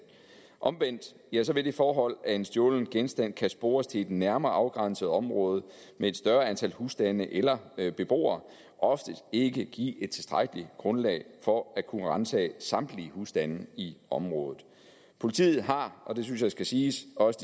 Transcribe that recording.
omvendt vil det forhold at en stjålen genstand kan spores til et nærmere afgrænset område med et større antal husstande eller eller beboere oftest ikke give et tilstrækkeligt grundlag for at kunne ransage samtlige husstande i området politiet har og det synes jeg skal siges også